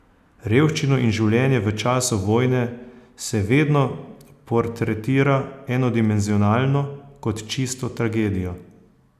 Revščino in življenje v času vojne se vedno portretira enodimenzionalno, kot čisto tragedijo.